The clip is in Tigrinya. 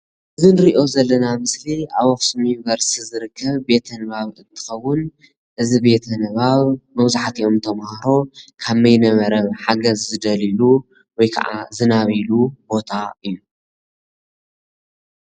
ኣብ ኣኽሱም መካነ ኣእምሮ ናይ ኮምፒተር ትምህርቲ የመላኽት።